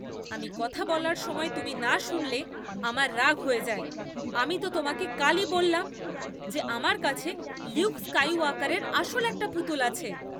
আমি কথা বলার সময় তুমি না শুনলে আমার রাগ হয়ে যায়। আমি তো তোমাকে কালই বললাম যে আমার কাছে লিউক স্কাইওয়াকারের আসল একটা পুতুল আছে।